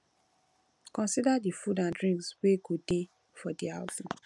consider di food and drinks wey go dey for di outing